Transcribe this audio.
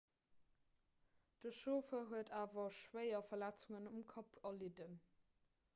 de chauffer huet awer schwéier verletzungen um kapp erlidden